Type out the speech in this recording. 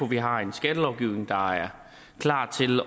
vi har en skattelovgivning der er klar til